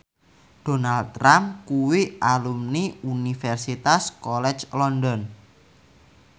Donald Trump kuwi alumni Universitas College London